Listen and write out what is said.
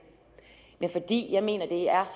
men fordi jeg mener det er